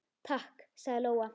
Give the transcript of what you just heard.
Takk, sagði Lóa.